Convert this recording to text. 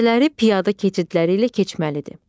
Küçələri piyada keçidləri ilə keçməlidir.